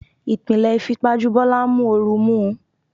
Ìpìlẹ̀ ìfipajú Bọ́lá ń mú oru mú un.